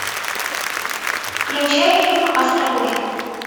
включай фильм астробой